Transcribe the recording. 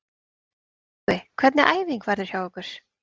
Tryggvi, hvernig æfing verður hjá ykkur?